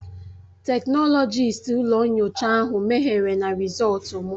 Teknọlọkist ụlọ nyocha ahụ mehiere na Rịzọltu m